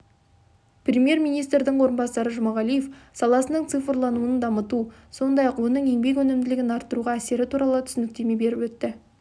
премьер-министрдің орынбасары жұмағалиев саласының цифрлануын дамыту сондай-ақ оның еңбек өнімділігін арттыруға әсері туралы түсініктеме беріп өтті